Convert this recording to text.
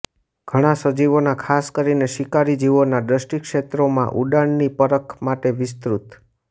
ઘણાં સજીવોના ખાસ કરીને શિકારી જીવોના દૃષ્ટિક્ષેત્રોમાં ઊંડાણની પરખ માટે વિસ્તૃત